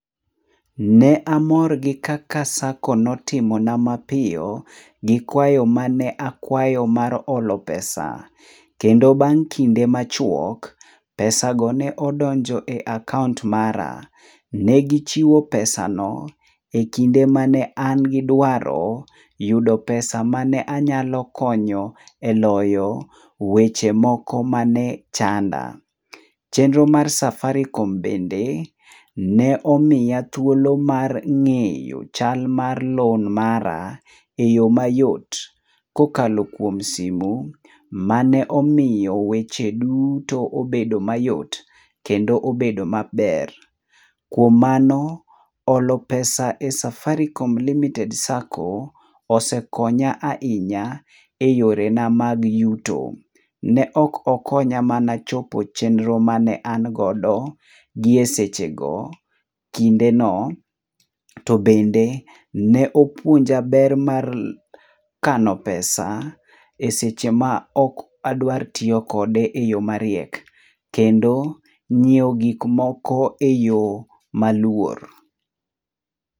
Ne amor gi kaka SACCO notimona mapiyo, gi kwayo mane akwayo mar olo pesa. Kendo bang' kinde machuok, pesano ne odonjo e akaont mara. Ne gichiwo pesano, e kinde ma ne an gi dwaro, yudo pesa ma ne anyalo konyo e loyo weche moko ma ne chanda. Chenro mar Safaricom bende, ne omiya thuolo mar ng'eyo chal mar loan mara, e yo mayot kokalo kuom simu, ma ne omiyo weche duto obedo mayot, kendo obedo maber. Kuom mano, olo pesa e Safaricom limited SACCO osekonya ainya e yore na mag yuto. Ne ok okonya mana chopo chenro ma ne an godo, gie sechego, kindeno. To bende ne opuonja ber mar kano pesa, e seche ma ok adwar tiyo kode e yo mariek, kendo nyieo gikmoko e yo maluor.